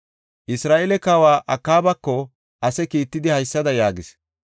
Isra7eele kawa Akaabako ase kiittidi haysada yaagis;